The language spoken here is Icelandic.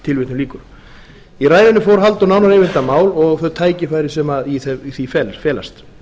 tilvitnun lýkur í ræðunni fór halldór nánar yfir þetta mál og þau tækifæri sem í þeim felast